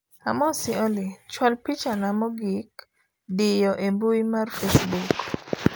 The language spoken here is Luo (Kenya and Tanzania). amosi Olly, chwal pichana mogik diyo e mbui mar facebook